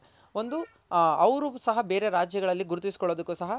ಒಂದು ಅವ್ರು ಸಹ ಬೇರೆ ರಾಜ್ಯಗಳಲ್ ಗುರುತಿಸಿ ಕೊಳ್ಳೋದಕ್ ಸಹ